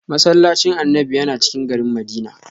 "Massallacin Annabi" yana cikin garin Madina.